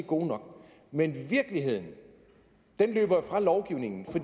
gode nok men virkeligheden løber jo fra lovgivningen